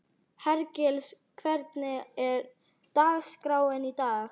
Hergils, hvernig er dagskráin í dag?